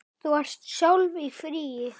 Þú ert sjálf í fríi.